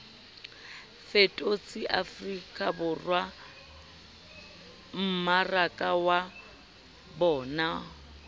fetotse afrikaborwa mmaraka wa bonao